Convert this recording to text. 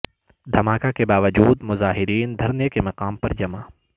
دھماکے کے باوجود مظاہرین دھرنے کے مقام پر جمع